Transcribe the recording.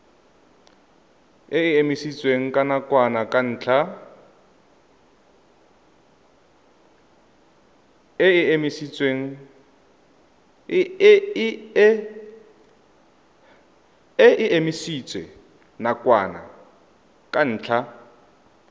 e emisitswe nakwana ka ntlha